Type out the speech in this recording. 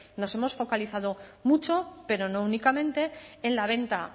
nos hemos focalizado mucho pero no únicamente en la venta